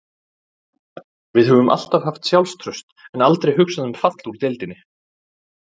Við höfum alltaf haft sjálfstraust og aldrei hugsað um fall úr deildinni